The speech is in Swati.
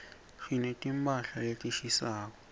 sineti mphahla letishisako